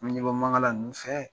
N bɛ ɲɛbɔ Mankala ninnu fɛ!